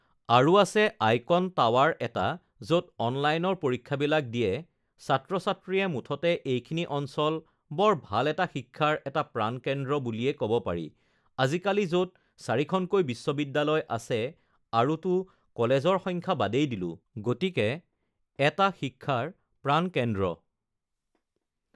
আৰু আছে icon tower এটা য'ত অলনাইনৰ পৰীক্ষাবিলাক দিয়ে ছাত্ৰ-ছাত্ৰীয়ে মুঠতে এইখিনি অঞ্চল বৰ ভাল এটা শিক্ষাৰ এটা প্ৰাণকেন্দ্ৰ বুলিয়ে ক'ব পাৰি আজিকালি য'ত চাৰিখনকৈ বিশ্ববিদ্যালয় আছে আৰুতো কলেজৰ সংখ্যা বাদেই দিলোঁ গতিকে এটা শিক্ষাৰ প্ৰাণকেন্দ্ৰ